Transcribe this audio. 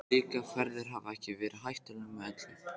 Slíkar ferðir hafa ekki verið hættulausar með öllu.